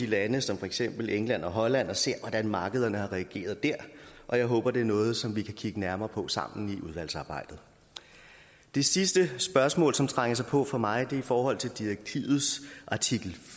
lande som for eksempel england og holland og ser hvordan markederne har reageret dér og jeg håber at det er noget som vi kan kigge nærmere på sammen i udvalgsarbejdet det sidste spørgsmål som trænger sig på for mig er i forhold til direktivets artikel